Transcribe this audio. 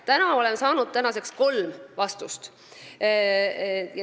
Tänaseks olen saanud kolm vastust.